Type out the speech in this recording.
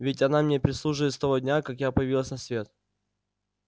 ведь она мне прислуживает с того дня как я появилась на свет